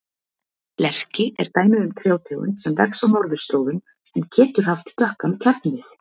Lerki er dæmi um trjátegund sem vex á norðurslóðum en getur haft dökkan kjarnvið.